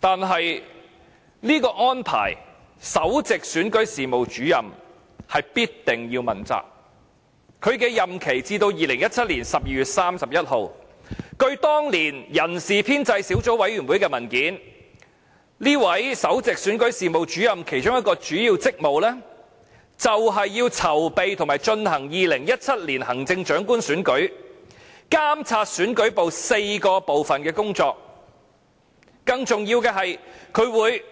但是，就這個安排，首席選舉事務主任必定要問責，他的任期至2017年12月31日，據當年人事編制小組委員會的文件，這位首席選舉事務主任其中一個主要職務是，籌備和進行2017年行政長官選舉，監察選舉部4個分部的工作，更重要的是，他會